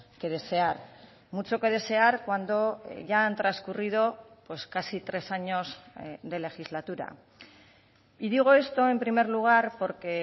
que desear mucho que desear cuando ya han transcurrido casi tres años de legislatura y digo esto en primer lugar porque